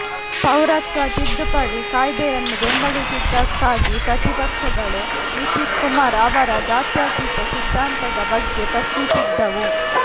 ಪೌರತ್ವ ತಿದ್ದುಪಡಿ ಕಾಯ್ದೆಯನ್ನು ಬೆಂಬಲಿಸಿದ್ದಕ್ಕಾಗಿ ಪ್ರತಿಪಕ್ಷಗಳು ನಿತೀಶ್ ಕುಮಾರ್ ಅವರ ಜಾತ್ಯತೀಯ ಸಿದ್ದಾಂತದ ಬಗ್ಗೆ ಪ್ರಶ್ನಿಸಿದ್ದವು